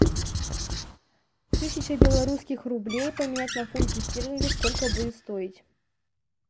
тысяча белорусских рублей поменять на фунты стерлинги сколько будет стоить